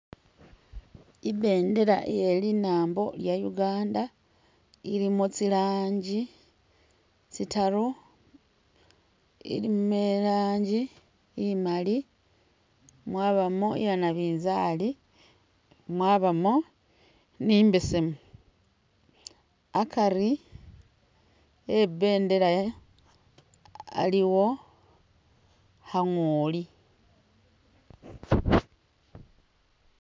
I'bendela iye linambo lya Uganda ilimo tsi langi tsitaru. Ilimo i'laangi imali, mwabamo iya nabinzaali, mwabamo ni imbesemu. Akari eh i'bendela aliwo kha ngooli.